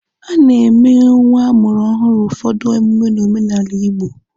A na-emere nwa amụrụ ọhụrụ ụfọdụ emume n'omenala Igbo.